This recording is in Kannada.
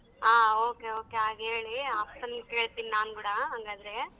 ಹಾ okay okay ಹಾಗೇಳಿ ಅಪ್ಪನ್ ಕೇಳ್ತೀನಿ ನಾನ್ಗುಡಾ ಹಂಗಾದ್ರೆ.